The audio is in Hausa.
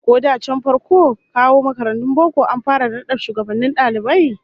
Shin ko da can farkon kawo makarantun boko an fara da nada shugabannin dalibai?